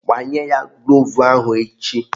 Gbanye ya gloovu ahụ echi!